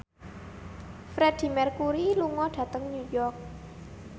Freedie Mercury lunga dhateng New York